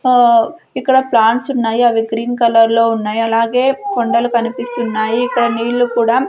ఆ ఇక్కడ ప్లాంట్స్ ఉన్నాయి అవి గ్రీన్ కలర్లో ఉన్నాయ్ అలాగే కొండలు కనిపిస్తున్నాయి ఇక్కడ నీళ్ళు కూడా--